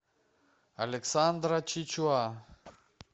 александра чичуа